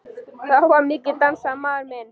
Þá var mikið dansað, maður minn.